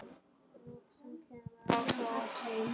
Loksins kemur Ása út.